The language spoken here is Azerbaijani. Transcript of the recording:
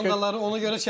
Komandaları ona görə çəkir.